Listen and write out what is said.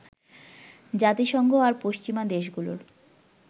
জাতিসংঘ আর পশ্চিমা দেশগুলোর